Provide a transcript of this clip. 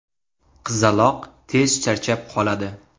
Qizaloq tez charchab qoladi.